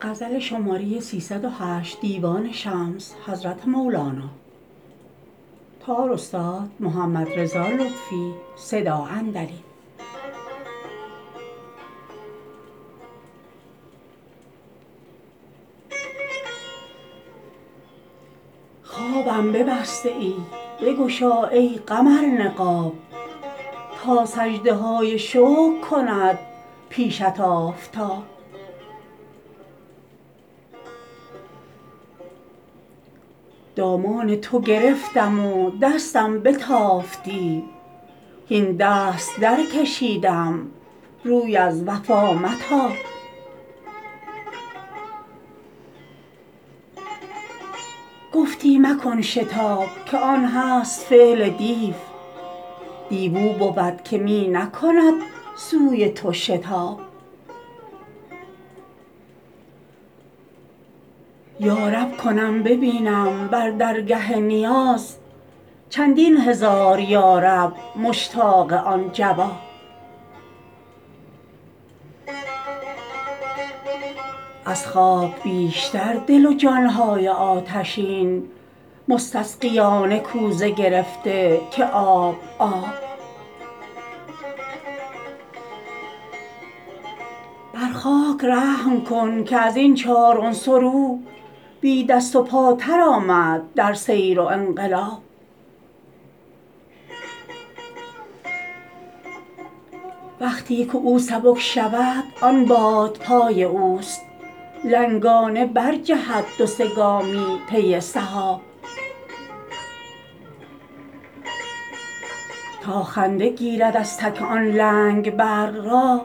خوابم ببسته ای بگشا ای قمر نقاب تا سجده های شکر کند پیشت آفتاب دامان تو گرفتم و دستم بتافتی هین دست درکشیدم روی از وفا متاب گفتی مکن شتاب که آن هست فعل دیو دیو او بود که می نکند سوی تو شتاب یا رب کنم ببینم بر درگه نیاز چندین هزار یا رب مشتاق آن جواب از خاک بیشتر دل و جان های آتشین مستسقیانه کوزه گرفته که آب آب بر خاک رحم کن که از این چار عنصر او بی دست و پاتر آمد در سیر و انقلاب وقتی که او سبک شود آن باد پای اوست لنگانه برجهد دو سه گامی پی سحاب تا خنده گیرد از تک آن لنگ برق را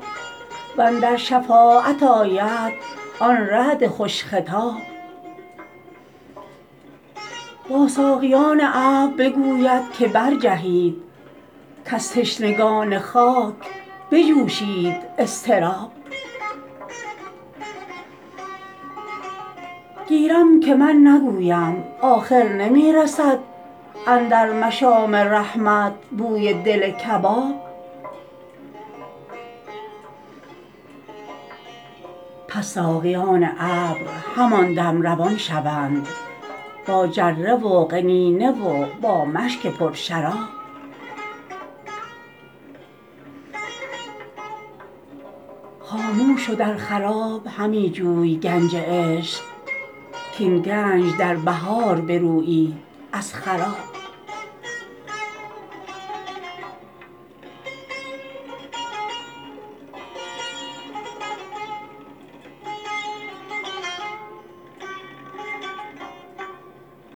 و اندر شفاعت آید آن رعد خوش خطاب با ساقیان ابر بگوید که برجهید کز تشنگان خاک بجوشید اضطراب گیرم که من نگویم آخر نمی رسد اندر مشام رحمت بوی دل کباب پس ساقیان ابر همان دم روان شوند با جره و قنینه و با مشک پرشراب خاموش و در خراب همی جوی گنج عشق کاین گنج در بهار برویید از خراب